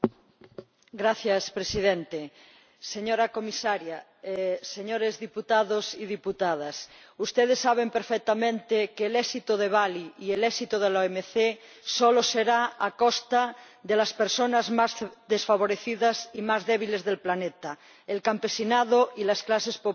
Señor Presidente, señora Comisaria, señores diputados y diputadas, ustedes saben perfectamente que el éxito de Bali y el éxito de la OMC solo será a costa de las personas más desfavorecidas y más débiles del planeta el campesinado y las clases populares.